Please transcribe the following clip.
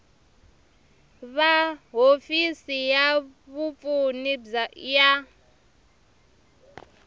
va hofisi ya vapfuni ya